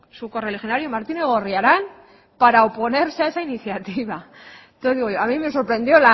su correligionario martínez gorriarán para oponerse a esa iniciativa entonces digo yo a mí me sorprendió